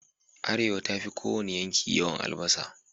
Arewa ta fi ko wane yanki yawan albasa